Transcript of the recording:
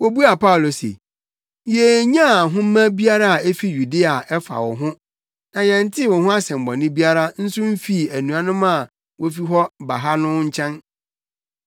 Wobuaa Paulo se, “Yennyaa nhoma biara a efi Yudea a ɛfa wo ho na yɛntee wo ho asɛmmɔne biara nso mfii anuanom a wofi hɔ ba ha no nso nkyɛn.